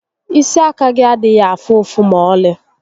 Isi àkà gị adịghị afụ ụfụ ma ọlị